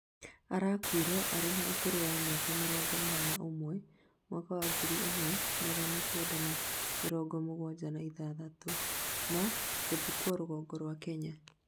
arakũire arĩ na ũkuru miaka mĩrongo ĩnana na ũmwe, mwaka wa ngiri ĩmwe magana Kenda ma mĩrongo mũgwanja na ithathatũ, na gũthikwo rũgongo rwa Kenya.